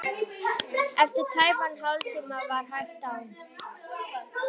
Eftir tæpan hálftíma var hægt á.